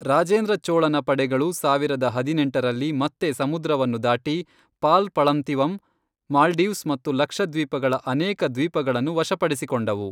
ರಾಜೇಂದ್ರ ಚೋಳನ ಪಡೆಗಳು ಸಾವಿರದ ಹದಿನೆಂಟರಲ್ಲಿ ಮತ್ತೆ ಸಮುದ್ರವನ್ನು ದಾಟಿ, ಪಾಲ್ ಪಳಂತಿವಂ ಮಾಲ್ಡೀವ್ಸ್ ಮತ್ತು ಲಕ್ಷದ್ವೀಪಗಳ ಅನೇಕ ದ್ವೀಪಗಳನ್ನು ವಶಪಡಿಸಿಕೊಂಡವು.